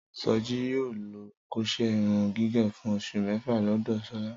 Sọjí yóò lọ kóṣẹ́ irun gígẹ̀ fún oṣù mẹ́fà lọ́dọ̀ Ṣọlá